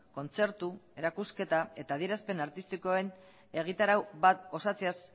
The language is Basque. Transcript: kontzertu erakusketa eta adierazpen artistikoen egitarau bat osatzeaz